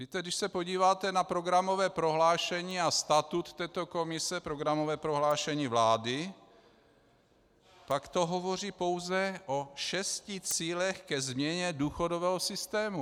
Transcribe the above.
Víte, když se podíváte na programové prohlášení a statut této komise, programové prohlášení vlády, tak to hovoří pouze o šesti cílech ke změně důchodového systému.